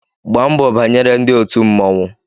Gbaa mbọ banyere ndị òtù mmọnwụ!